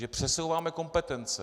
Že přesouváme kompetence.